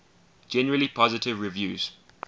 generally positive reviews